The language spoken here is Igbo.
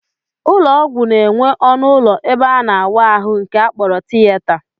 Ụlọọgwụ na-enwe ọnụụlọ ebe a na-awa ahụ nke a kpọrọ tiyeta